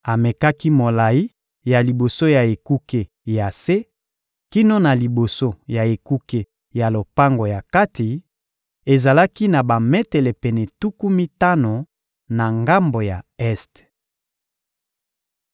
Amekaki molayi ya liboso ya ekuke ya se kino na liboso ya ekuke ya lopango ya kati: ezalaki na bametele pene tuku mitano na ngambo ya este.